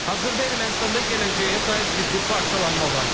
Hazırda Ermənistanda gələcəyə dair ciddi parçalanma var.